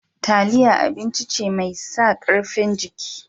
Taliya abinci ce mai sa ƙarfin jiki.